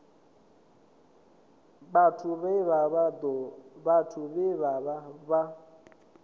vhathu vhe vha vha vha